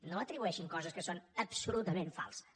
no atribueixin coses que són absolutament falses